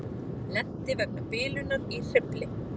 Lenti vegna bilunar í hreyfli